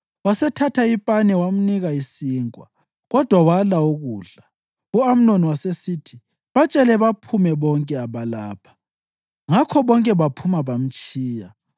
Wasethatha ipane wamnika isinkwa, kodwa wala ukudla. U-Amnoni wasesithi, “Batshele baphume bonke abalapha.” Ngakho bonke baphuma bamtshiya.